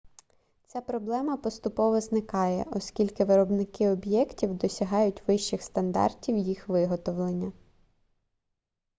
ця проблема поступово зникає оскільки виробники об'єктивів досягають вищих стандартів їх виготовлення